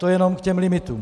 To jen k těm limitům.